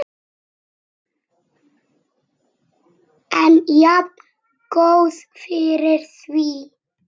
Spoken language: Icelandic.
En jafngóð fyrir því!